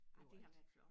Ej det har været flot